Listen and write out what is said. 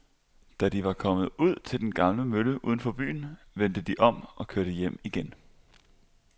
Da de var kommet ud til den gamle mølle uden for byen, vendte de om og kørte hjem igen.